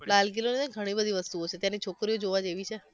લાલ કિલ્લો નઈ ઘણી બધી વસ્તુઓ છે ત્યાંની છોકરીઓ જોવા જેવી છે